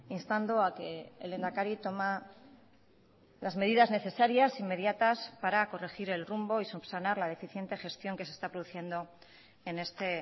instando a que el lehendakari toma las medidas necesarias inmediatas para corregir el rumbo y subsanar la deficiente gestión que se está produciendo en este